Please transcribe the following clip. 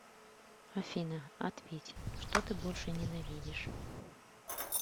афина ответь что ты больше ненавидишь